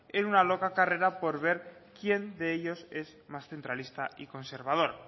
en una loca carrera por ver quién de ellos es más centralista y conservador